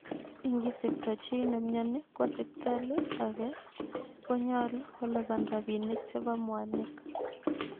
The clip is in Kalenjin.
Ingisipto chii nemyoni kwo sipitali age konyolu kolipan rapinik chepo mwanik